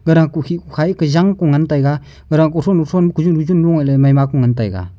ara kukhi kukhai ka jang kungan taiga gara kuthu kuthon kuju kujun maima ley ngan taiga.